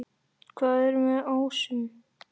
Hvað er með ásum?